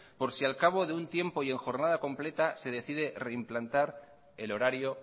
por si al cabo de un tiempo y en jornada completa se decide reimplantar el horario